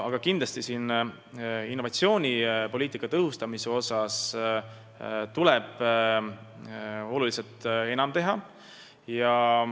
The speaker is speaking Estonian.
Aga kindlasti tuleb innovatsioonipoliitikat tõhustades oluliselt enam teha.